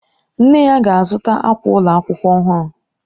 Nne ya ga-azụta akwa ụlọ akwụkwọ ọhụrụ.